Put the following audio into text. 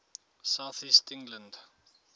south east england